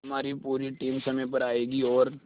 हमारी पूरी टीम समय पर आएगी और